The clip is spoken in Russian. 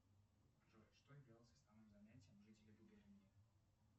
джой что являлось основным занятием жителей губернии